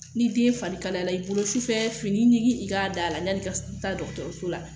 Ni den fari kalayara i bolo sufɛ fini ɲigin i k'a d'a la yani i ka taabdɔgɔtɔrɔso la